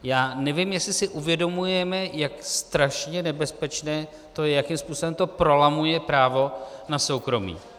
Já nevím, jestli si uvědomujeme, jak strašně nebezpečné to je, jakým způsobem to prolamuje právo na soukromí.